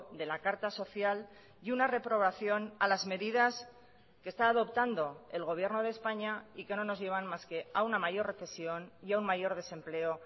de la carta social y una reprobación a las medidas que está adoptando el gobierno de españa y que no nos llevan más que a una mayor recesión y a un mayor desempleo